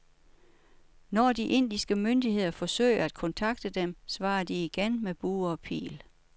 Når de indiske myndigheder forsøger at kontakte dem, svarer de igen med bue og pil.